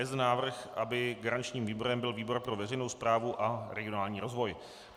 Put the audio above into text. Je zde návrh, aby garančním výborem byl výbor pro veřejnou správu a regionální rozvoj.